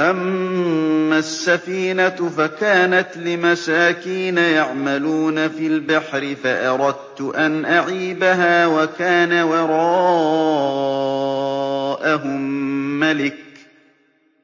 أَمَّا السَّفِينَةُ فَكَانَتْ لِمَسَاكِينَ يَعْمَلُونَ فِي الْبَحْرِ فَأَرَدتُّ أَنْ أَعِيبَهَا